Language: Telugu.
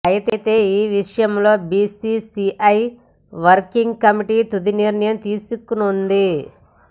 అయితే ఈ విషయంలో బీసీసీఐ వర్కింగ్ కమిటి తుది నిర్ణయం తీసుకోనుంది